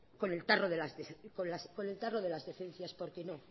con el tarro de las decencias porque no